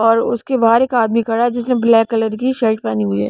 और उसके बाहर एक आदमी खड़ा है जिसने ब्लैक कलर की शर्ट पहनी हुई है.